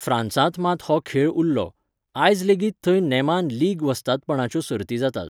फ्रांसांत मात हो खेळ उरलो, आयज लेगीत थंय नेमान लीग वस्तादपणाच्यो सर्ती जातात.